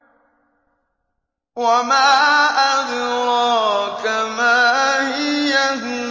وَمَا أَدْرَاكَ مَا هِيَهْ